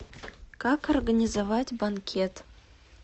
как организовать банкет